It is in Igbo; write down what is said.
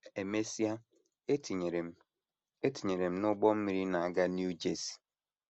E mesịa, e tinyere m e tinyere m n’ụgbọ mmiri na - aga New Jersey.